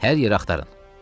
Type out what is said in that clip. Hər yeri axtarın.